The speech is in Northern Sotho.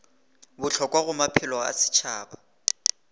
bohlokwa go maphelo a setšhaba